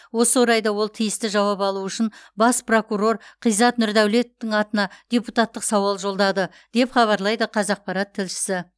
осы орайда ол тиісті жауап алу үшін бас прокурор ғизат нұрдәулетовтың атына депутаттық сауал жолдады деп хабарлайды қазақпарат тілшісі